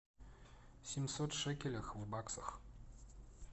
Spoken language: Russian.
семьсот шекелей в баксах